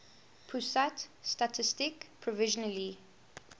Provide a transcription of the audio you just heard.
pusat statistik provisionally